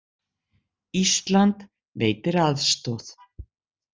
Ísland veitir aðstoð